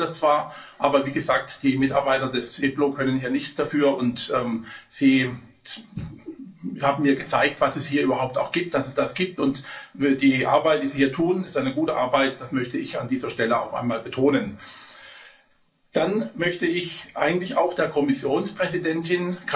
Ich bedaure das zwar, aber wie gesagt, die Mitarbeiter des EPLO können hier nichts dafür, und sie haben mir gezeigt, was es hier überhaupt gibt, dass es das gibt, und die Arbeit, die sie hier tun, ist eine gute Arbeit, das möchte ich an dieser Stelle auch einmal betonen. Dann möchte ich eigentlich auch der Kommissionspräsidentin